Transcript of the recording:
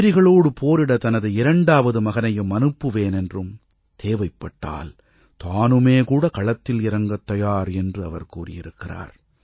எதிரிகளோடு போரிட தனது இரண்டாவது மகனையும் அனுப்புவேன் என்றும் தேவைப்பட்டால் தானுமே கூட களத்தில் இறங்கத் தயார் என்று அவர் கூறியிருக்கிறார்